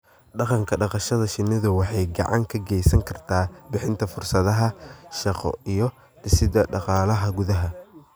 Dhaqanka dhaqashada shinnidu waxay gacan ka geysan kartaa bixinta fursadaha shaqo iyo dhisidda dhaqaalaha gudaha.